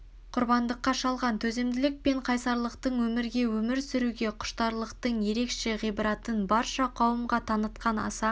құрбандыққа шалған төзімділік пен қайсарлықтың өмірге өмір сүруге құштарлықтынң ерекше ғибратын барша қауымға танытқан аса